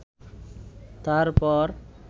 তারপর